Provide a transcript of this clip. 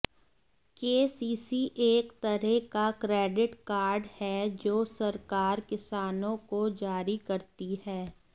KCC एक तरह का क्रेडिट कार्ड है जो सरकार किसानों को जारी करती है